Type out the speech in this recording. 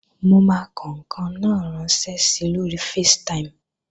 Mo máa kọ ǹkan náà ránṣẹ́ si lóri Facetime